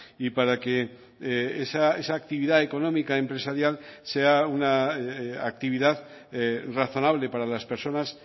y para que esa actividad económica empresarial sea una actividad razonable para las personas